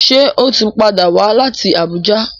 Ṣe o tí pàdà wá láti Abuja?